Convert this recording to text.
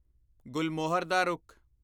ਗੁਲਮੋਹਰ ਦਾ ਰੁੱਖ